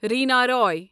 Reena Roy